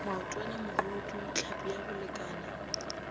maotwana mogodu tlhapi ya bolekana